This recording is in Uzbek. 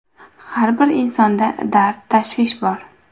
Har bir insonda dard-tashvish bor.